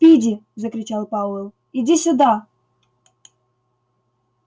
спиди закричал пауэлл иди сюда